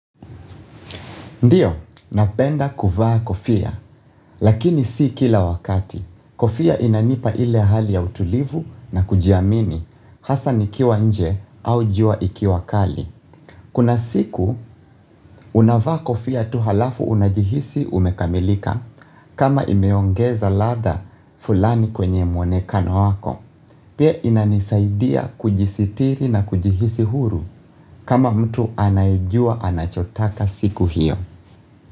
Ndiyo, napenda kuvaa kofia, lakini si kila wakati. Kofia inanipa ile hali ya utulivu na kujiamini, hasa nikiwa nje au jua ikiwa kali. Kuna siku, unavaa kofia tuhalafu unajihisi umekamilika kama imeongeza ladha fulani kwenye mwonekano wako. Pia inanisaidia kujisitiri na kujihisi huru kama mtu anayejua anachotaka siku hiyo.